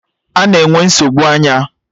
Ana-enwe nsogbu anya.